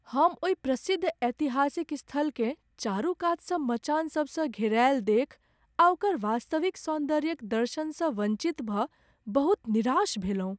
हम ओहि प्रसिद्ध ऐतिहासिक स्थलकेँ चारूकातसँ मचान सबसँ घेरायल देखि आ ओकर वास्तविक सौन्दर्यक दर्शनसँ वंचित भऽ बहुत निराश भेलहुँ।